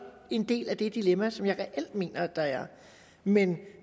en del af det dilemma som jeg reelt mener at der er men